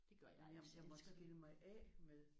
Det gør jeg altså jeg elsker det